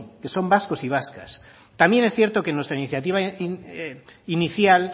que son vascos y vascas también es cierto que en nuestra iniciativa inicial